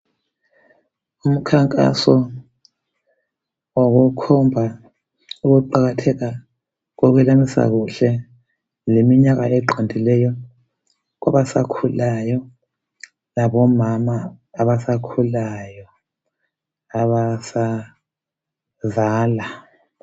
Umkhankaso okukhomba ukuqakatheka kokwelamisa kuhle leminyaka eqondileyo kwabasakhulayo labomama abasakhulayo abasazala.